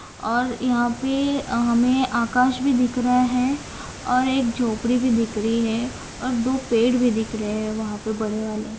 और अं यहाँ पे हमें आकाश भी दिख रहा है और एक झोपड़ी भी दिख रही है और दो पेड़ भी दिख रहे है वहां पे बड़े वाले।